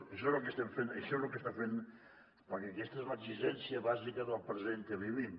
això és el que estem fent això és el que estem fent perquè aquesta és l’exigència bàsica del present que vivim